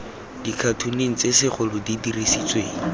dikhatoneng tse segolo di diretsweng